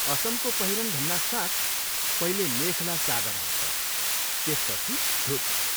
असमको पहिरन भन्नासाथ पहिले मेखला चादर आउँछ, त्यसपछि धोती।